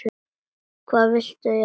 Hvað viltu ég segi?